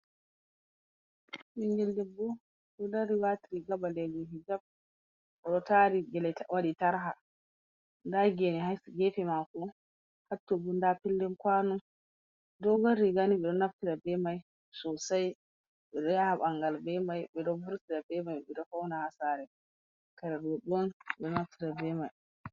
Ɓingel debbo ɗo dari wati riga ɓalejum hijjap o ɗo tari gele waɗi tarha, nda gene ha gefe mako, ha to bo nda Pele kuano, dogon riga ni ɓe ɗo naftira be mai sosai, ɓe ɗo yaha ɓangal beman, ɓe ɗo vurtira be man, ɓe ɗo faunira ha sare, kare roɓɓe on ɓe ɗo naftira.